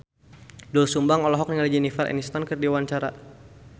Doel Sumbang olohok ningali Jennifer Aniston keur diwawancara